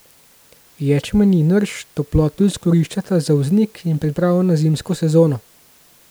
Ječmen in rž toploto izkoriščata za vznik in pripravo na zimsko sezono.